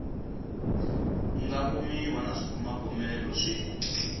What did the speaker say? nga kumiwa na swibumabumelo swi